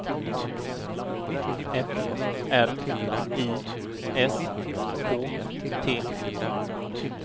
F R I S K T